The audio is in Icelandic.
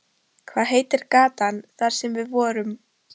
Hvað heitir gatan þar sem við vorum?